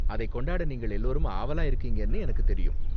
அதை கொண்டாட நீங்கள் எல்லோரும் ஆவலா இருக்கீங்கனு எனக்கு தெரியும்.